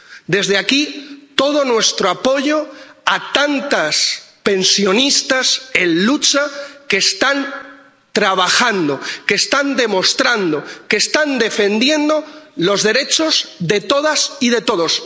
Desde aquí, todo nuestro apoyo a tantos pensionistas en lucha que están trabajando, que están demostrando, que están defendiendo los derechos de todas y de todos.